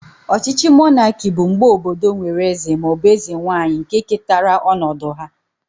Ọchịchị monaki bụ mgbe obodo nwere eze ma ọ bụ eze nwanyị nke ketara ọnọdụ ha